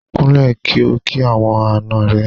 Kúnlẹ̀ kí o kí àwọn àna rẹ.